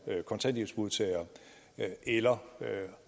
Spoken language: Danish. kontanthjælpsmodtagere eller